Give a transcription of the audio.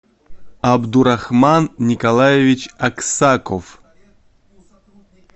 абдурахман николаевич аксаков